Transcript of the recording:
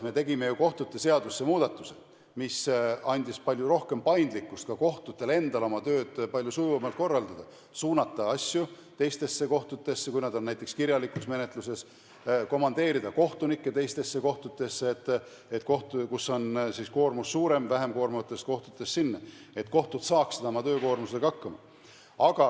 Me tegime ju kohtute seadusse muudatuse, mis andis palju rohkem paindlikkust ka kohtutel endal oma tööd palju sujuvamalt korraldada, näiteks suunata asju teistesse kohtutesse, kui nad on näiteks kirjalikus menetlustes, komandeerida kohtunikke teistesse kohtutesse, st sealt, kus koormus on suurem, vähem koormatud kohtadesse, et kohtud saaksid oma töökoormusega hakkama.